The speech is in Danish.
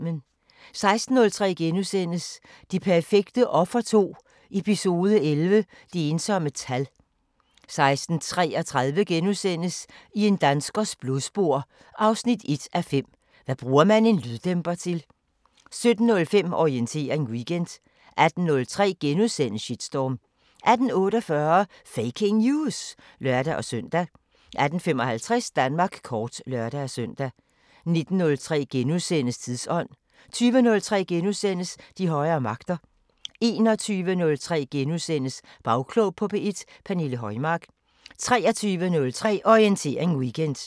16:03: Det perfekte offer 2 – Eps. 11 – Det ensomme tal * 16:33: I en danskers blodspor 1:5 – Hvad bruger man en lyddæmper til? * 17:05: Orientering Weekend 18:03: Shitstorm * 18:48: Faking News! (lør-søn) 18:55: Danmark kort (lør-søn) 19:03: Tidsånd * 20:03: De højere magter * 21:03: Bagklog på P1: Pernille Højmark * 23:03: Orientering Weekend